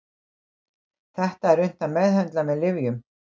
Þetta er unnt að meðhöndla með lyfjum.